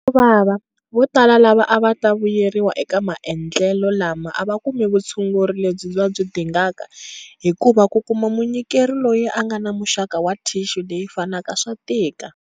Xo vava, votala lava a va ta vuyeriwa eka maendlelo lama a va kumi vutshunguri lebyi va byi dingaka hikuva ku kuma munyikeri loyi a nga na muxaka wa thixu leyi fanaka swa tika.